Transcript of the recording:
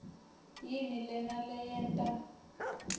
yini lena leyenta